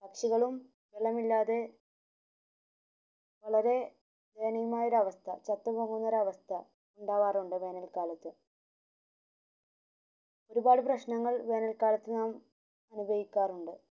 പക്ഷികളും വെള്ളമില്ലാതെ വളരെ ദയനീയമായ ഒരവസ്ഥ ചത്ത പോകുന്ന ഒരവസ്ഥ ഇണ്ടാവാറുണ്ട് വേനൽ കാലത് ഒരുപാട് പ്രശനങ്ങൾ വേനൽ കാലത് നാം അനുഭവിക്കാറുണ്ട്